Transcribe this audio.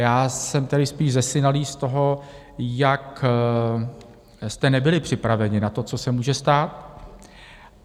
Já jsem tedy spíš zesinalý z toho, jak jste nebyli připraveni na to, co se může stát.